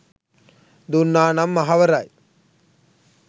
දුන්නා නම් අහවරයි